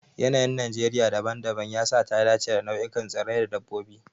Yanayin Najeriya dabam-dabam ya sa ta dace da nau'ikan tsirrai da dabbobi.